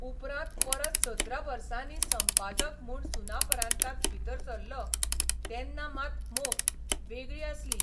उपरांत परत सतरा बर्सानी संपादक म्हूण सुनापरान्तांत भितर सरलों तेन्ना मात मोख वेगळी आसली.